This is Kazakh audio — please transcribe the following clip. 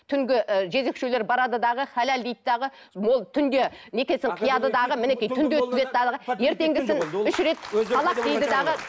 түнгі ы жезөкшелер барады дағы халал дейді дағы түнде некесін қияды дағы мінекей ертеңгісін үш рет талақ дейді дағы